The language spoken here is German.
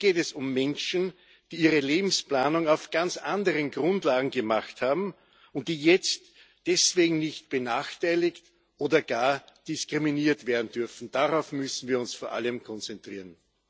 Hier geht es um Menschen, die ihre Lebensplanung auf ganz anderen Grundlagen gemacht haben und die jetzt deswegen nicht benachteiligt oder gar diskriminiert werden dürfen. Vor allem darauf müssen wir uns konzentrieren.